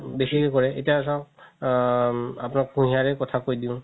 বেচিকে কৰে এতিয়া চাওক আ আপুনাক কুহিয়াৰে কথা কই দিও